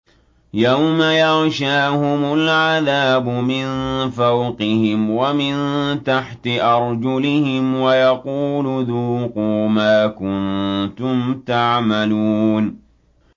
يَوْمَ يَغْشَاهُمُ الْعَذَابُ مِن فَوْقِهِمْ وَمِن تَحْتِ أَرْجُلِهِمْ وَيَقُولُ ذُوقُوا مَا كُنتُمْ تَعْمَلُونَ